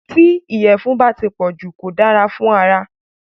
Tí ìyẹ̀fun bá ti pọ̀jù kò dára fún ara